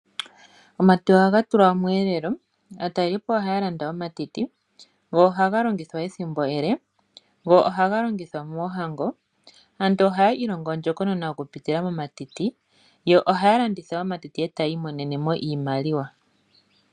Omatiti ohaga tulwa omweelelo. Aatalelipo ohaa landa omatiti, go ohaga longithwa ethimbo ele, go ohaga longithwa moohango. Aantu ohaa ilongo ondjokonona okupitila momatiti, yo ohaya landitha omatiti e taya imonene mo iimaliwa.